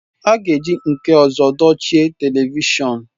A ga-eji nke ọzọ dochie telivishọn